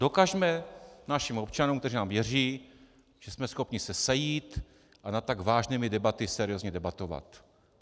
Dokažme našim občanům, kteří nám věří, že jsme schopni se sejít a nad tak vážnými tématy seriózně debatovat.